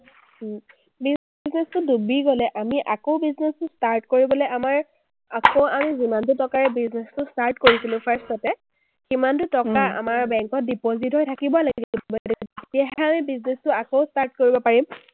business টো ডুবি গ’লে আমি আকৌ business টো start কৰিবলে আমাৰ আকৌ আন যিমানটো টকাৰে business টো start কৰিছিলো first তে, সিমানটো টকা আমাৰ bank ত deposit হৈ থাকিব লাগিব, তেতিয়াহে আমি business টো আকৌ start কৰিব পাৰিম।